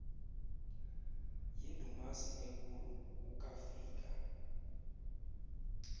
yindumasi enkulu ukafika